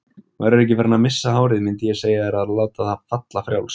Værirðu ekki farinn að missa hárið mundið ég segja þér að láta það falla frjálst.